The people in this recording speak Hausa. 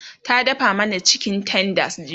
ta dafa mana chicken tenders jiya